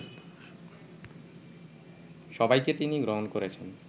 সবাইকে তিনি গ্রহণ করেছেন